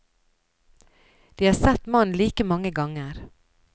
De har sett mannen like mange ganger.